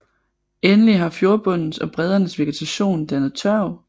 Endelig har fjordbundens og breddernes vegetation dannet tørv